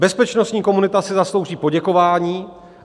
Bezpečnostní komunita si zaslouží poděkování.